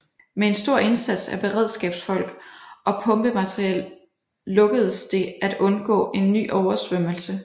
Med en stor indsats af beredskabsfolk og pumpemateriel lukkedes det at undgå en ny oversvømmelse